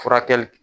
Furakɛli